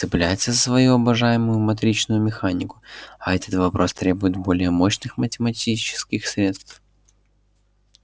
цепляется за свою обожаемую матричную механику а этот вопрос требует более мощных математических средств